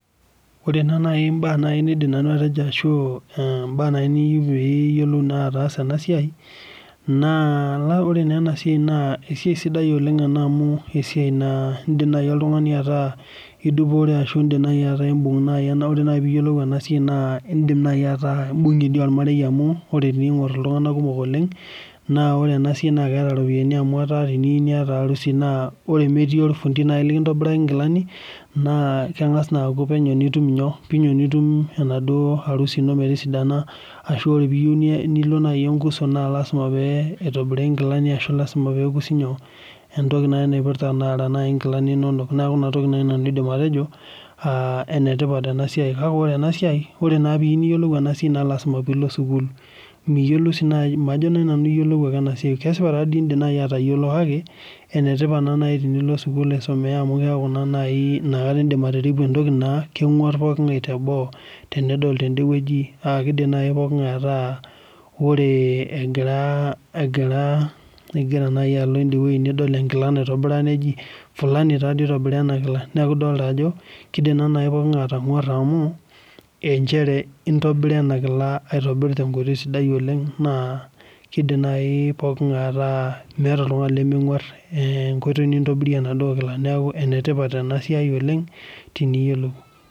Ore naa naai mbaak nanu naidim atejo ashu mbaak naa niyieu piiyiolou naa ataasa ena siai naa ore naa ena siai naa esiai sidai oleng amu esiai naa iindim naai oltung'ani ataa idupore ashu ataa imbung' naa ore naai piyiolou ena siai naa indim naai ataa imbung'ie dii ormarei amu ore piing'orr iltung'anak kumok oleng naa ore ena siai naa keeta iropiyiani amu etaa teniyieu niata harusi naa tenemetii orfundi naai lekintobiraki inkilani naa keng'as naa aku penyo nitum nyoo, penyo nitum enaduo harusi ino metosidana ashu ore piyieu nilo naai enkuso naa lazima pee eitobiri inkilani ashu lazima pee ekusi nyoo, entoki naai napirta nara taata nkilani inonok. Neeku ina toki naai nanu aidim atejo enetipat ena siai. Kake ore ena siai, ore naa piiyieu niyiolou ena siai naa lazima piilo sukuul nilo sii naai, majo naai nanu iyiolou ake ena siai. Kesipa indim naai atayiolo kake enetipat naa naai tenilo sukuul aisomea amu keeku naa inakata naai indim atiripu entoki naa keng'warr pooking'ae teboo tenedol tendewueji aa kiidim naai pooking'ae ataa ore egira, igira naai alo idiewueji nidol enkila naitobira neji fulani taadoi oitobira enda kila. Neeku idolita ajo kiidim naa naai pooking'ae atang'warra amu inchere intobira ena kila aitobiraki tenkoitoi sidai oleng naa kiidim naai pooking'ae ataa meeta oltung'ani lemeng'warr enkoitoi nintobiria enaduo kila. Neeku enetipat ena siai oleng teniyiolou